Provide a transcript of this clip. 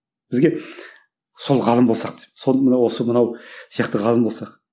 бізге сол ғалым болсақ деп сол мынау осы мынау сияқты ғалым болсақ